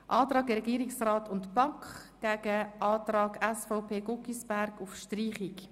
Wir stellen den Antrag Regierungsrat/BaK dem Antrag SVP/Guggisberg gegenüber.